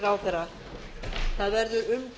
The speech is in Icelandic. tilhögun umræðunnar verður